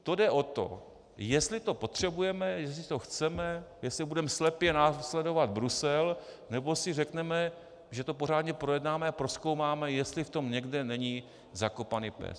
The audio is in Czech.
To jde o to, jestli to potřebujeme, jestli to chceme, jestli budeme slepě následovat Brusel, nebo si řekneme, že to pořádně projednáme a prozkoumáme, jestli v tom někde není zakopaný pes.